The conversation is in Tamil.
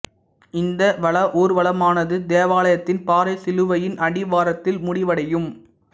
இந்த வளா ஊர்வலமானது தேவாலயத்தின் பாறை சிலுவையின் அடிவாரத்தில் முடிவடையும்